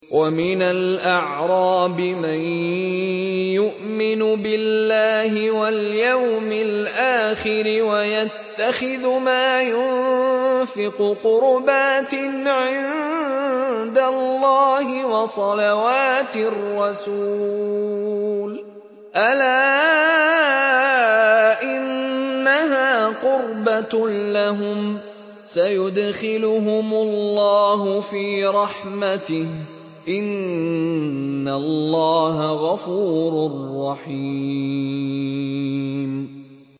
وَمِنَ الْأَعْرَابِ مَن يُؤْمِنُ بِاللَّهِ وَالْيَوْمِ الْآخِرِ وَيَتَّخِذُ مَا يُنفِقُ قُرُبَاتٍ عِندَ اللَّهِ وَصَلَوَاتِ الرَّسُولِ ۚ أَلَا إِنَّهَا قُرْبَةٌ لَّهُمْ ۚ سَيُدْخِلُهُمُ اللَّهُ فِي رَحْمَتِهِ ۗ إِنَّ اللَّهَ غَفُورٌ رَّحِيمٌ